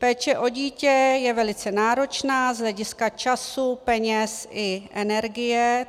Péče o dítě je velice náročná z hlediska času, peněz i energie.